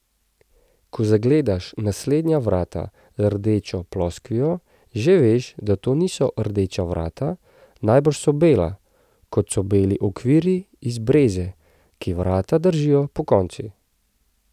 Ko zagledaš naslednja vrata z rdečo ploskvijo, že veš, da to niso rdeča vrata, najbrž so bela, kot so beli okvirji iz breze, ki vrata držijo pokonci.